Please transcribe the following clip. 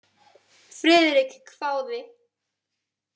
Friðrik hváði.